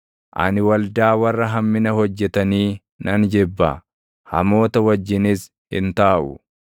ani waldaa warra hammina hojjetanii nan jibba; hamoota wajjinis hin taaʼu.